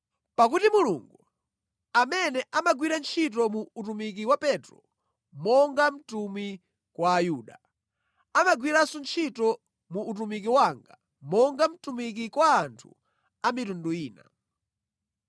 Pakuti Mulungu, amene amagwira ntchito mu utumiki wa Petro monga mtumwi kwa Ayuda, amagwiranso ntchito mu utumiki wanga monga mtumiki kwa anthu a mitundu ina.